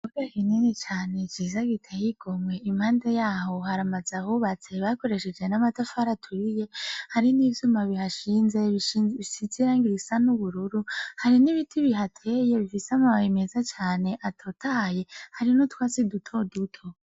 Ikibuga kinini cane ciza giteye igomwe impande yaho hari ams nzu ahubatse bakoresheje n'amatafara aturiye hari n'ivyuma bihashinze bisize iragi risa n'ubururu hari n'ibiti bihateye bifise amababe meza cane atotaye hari n'utwasi dutoduto.